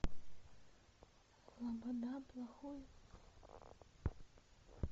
лобода плохой